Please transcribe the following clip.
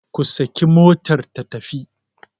ku saki motar ta tafi!